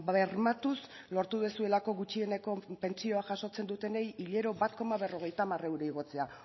bermatuz lortu duzuelako gutxieneko pentsioa jasotzen dutenei hilero bat koma berrogeita hamar euro igotzea